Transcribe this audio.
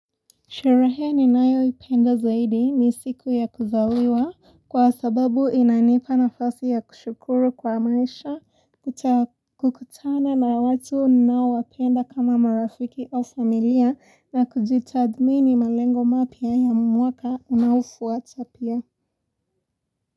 Sherehe ni nayo ipenda zaidi ni siku ya kuzawiwa kwa sababu inanipa na fasi ya kushukuru kwa maisha kutakukutana na watu ninao wapenda kama marafiki au familia na kujitathmini malengo mapya ya mwaka unaofuata pia.